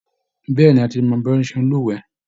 Bẹ́ẹ̀ ni, a ti mọ bí wọ́n ṣe é lúwẹ̀ẹ́